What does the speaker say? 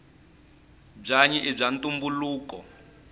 bwanyi ibwaantumbuluko